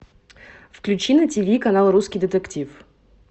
включи на тиви канал русский детектив